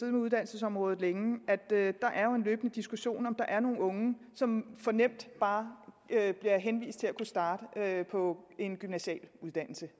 med uddannelsesområdet længe at der er en løbende diskussion om om der er nogle unge som for nemt bare bliver henvist til at kunne starte på en gymnasial uddannelse